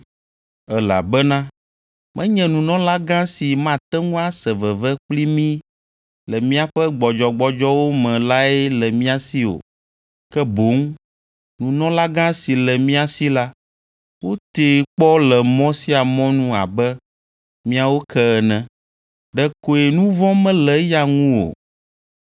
Elabena menye nunɔlagã si mate ŋu ase veve kpli mí le míaƒe gbɔdzɔgbɔdzɔwo me lae le mía si o, ke boŋ nunɔlagã si le mía si la, wotee kpɔ le mɔ sia mɔ nu abe míawo ke ene, ɖekoe nu vɔ̃ mele eya ŋu o.